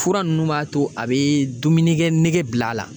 Fura nunnu b'a to a be dumunikɛ nege bila a la